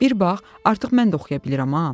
Bir bax, artıq mən də oxuya bilirəm.